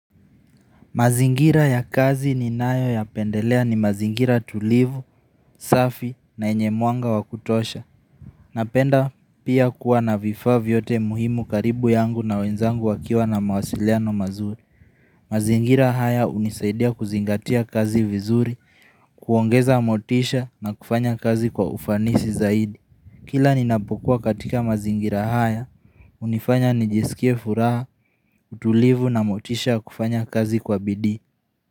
Mazingira ya kazi ninayo yapendelea ni mazingira tulivu, safi na yenye mwanga wa kutosha. Napenda pia kuwa na vifaa vyote muhimu karibu yangu na wenzangu wakiwa na mawasiliano mazuri. Mazingira haya unisaidia kuzingatia kazi vizuri, kuongeza motisha na kufanya kazi kwa ufanisi zaidi. Kila ninapokuwa katika mazingira haya, hunifanya nijisikie furaha, utulivu na motisha kufanya kazi kwa bidi.